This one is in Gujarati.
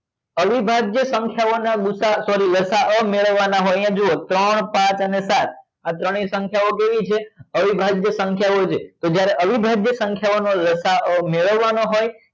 અવિભાજ્ય સંખ્યા ઓ નો ગુ સા અ sorry લસા અ મેળવવા નાં હોય અહિયાં જુઓ ત્રણ પાંચ અને સાત આ ત્રણેય સંખ્યા ઓ કેવી છે અવિભાજ્ય સંખ્યાઓ છે તો જયારે અવિભાજ્ય સંખ્યાઓ નો લસા અ મેળવવા નો હોય